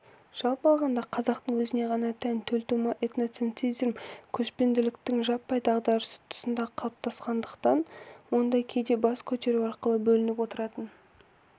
жалпы алғанда қазақтың өзіне ғана тән төлтума этноцентризм көшпенділіктің жаппай дағдарысы тұсында қалыптасқандықтан онда кейде бас көтеру арқылы білініп отыратын